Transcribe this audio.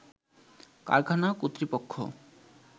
কারখানা কর্তৃপক্ষ